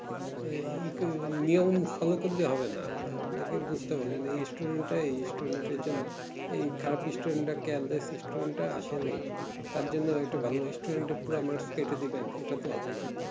নিয়ম follow করলেই হবে না আপনাকে বুঝতে হবে যে এই student